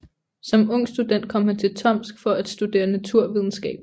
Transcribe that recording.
Som ung student kom han til Tomsk for at studerede naturvidenskab